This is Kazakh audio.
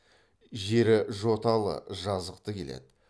жері жоталы жазықты келеді